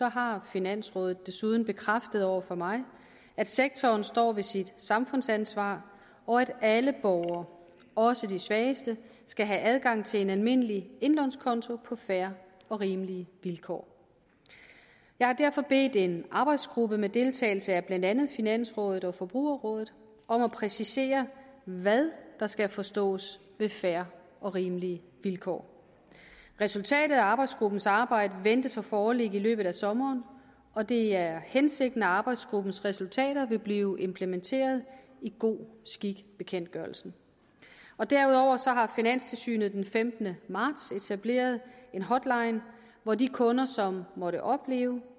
har finansrådet desuden bekræftet over for mig at sektoren står ved sit samfundsansvar og at alle borgere også de svageste skal have adgang til en almindelig indlånskonto på fair og rimelige vilkår jeg har derfor bedt en arbejdsgruppe med deltagelse af blandt andet finansrådet og forbrugerrådet om at præcisere hvad der skal forstås ved fair og rimelige vilkår resultatet af arbejdsgruppens arbejde ventes at foreligge i løbet af sommeren og det er hensigten at arbejdsgruppens resultater vil blive implementeret i god skik bekendtgørelsen derudover har finanstilsynet den femtende marts etableret en hotline hvor de kunder som måtte opleve